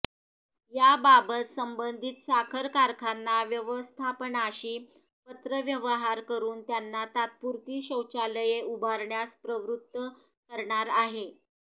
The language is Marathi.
याबाबत संबधित साखर कारखाना व्यवस्थापनाशी पत्रव्यवहार करुन त्यांना तात्पुरती शौचालये उभारण्यास प्रवृत्त करणार आहे